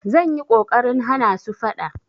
Zan yi ƙoƙarin hana su faɗa.